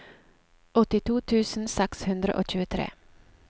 åttito tusen seks hundre og tjuetre